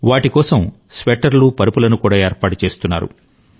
వాటి కోసం స్వెట్టర్లు పరుపులను కూడా ఏర్పాటు చేస్తారు